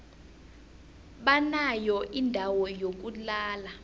banayo indawo yokulala